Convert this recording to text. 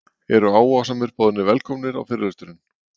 Eru áhugasamir boðnir velkomnir á fyrirlesturinn